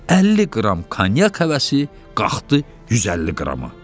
50 qram konyak həvəsi qalxdı 150 qrama.